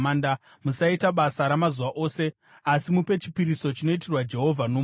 Musaita basa ramazuva ose, asi mupe chipiriso chinoitirwa Jehovha nomoto.’ ”